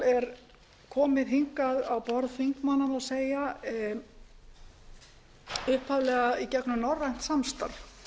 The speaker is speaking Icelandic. er komið hingað á borð þingmanna má segja upphaflega í gegnum norrænt samstarf